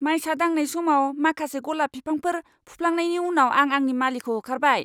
मायसा दांनाय समाव माखासे गलाब बिफांफोर फुफ्लांनायनि उनाव आं आंनि मालिखौ होखारबाय।